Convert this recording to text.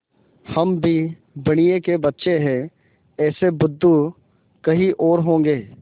हम भी बनिये के बच्चे हैं ऐसे बुद्धू कहीं और होंगे